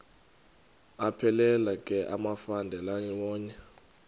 aphelela ke amafelandawonye